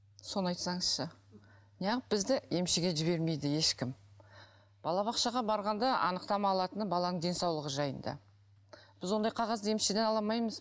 соны айтсаңызшы неғып бізді емшіге жібермейді ешкім балабақшаға барғанда анықтама алатыны баланың денсаулығы жайында біз ондай қағазды емшіден ала алмаймыз